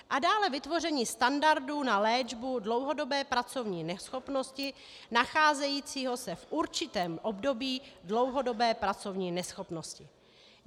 A dále vytvoření standardu na léčbu dlouhodobé pracovní neschopnosti nacházejícího se v určitém období dlouhodobé pracovní neschopnosti.